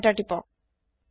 enter তিপক